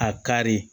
A kari